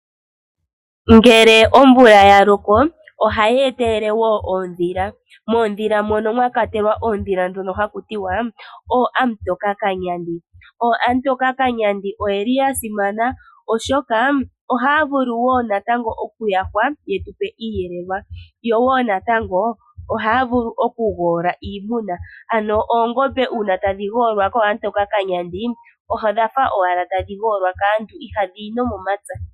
Ngele omvula ya loko ohayi etelele wo oondhila. Moondhila moka mwa kwatelwa oondhila ndhono haku tiwa ooamutokakanyandi. Ooamutokakanyandi oya simana , oshoka ohaya vulu wo okuyahwa ye tu pe iiyelelwa. Yo wo natango ohaya vulu okugoola iimuna. Oongombe uuna tadhi goolwa kooamutokakanyandi odha fa owala tadhi goolwa kaantu ihadhi yi nomomapya.